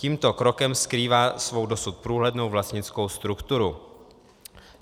Tímto krokem skrývá svou dosud průhlednou vlastnickou strukturu.